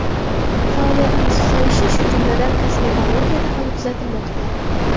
Faoliyatning susayishi, shu jumladan, kosmetologiyada ham kuzatilmoqda.